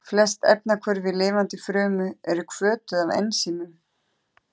Flest efnahvörf í lifandi frumu eru hvötuð af ensímum.